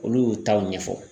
Olu y'u taw ɲɛfɔ